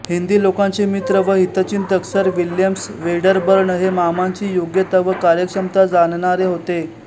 हिंदी लोकांचे मित्र व हितचिंतक सर विल्यम वेडरबर्न हे मामांची योग्यता व कार्यक्षमता जाणणारे होते